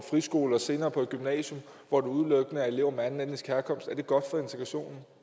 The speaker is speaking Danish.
friskole og senere på et gymnasium hvor der udelukkende er elever af anden etnisk herkomst er det så godt for integrationen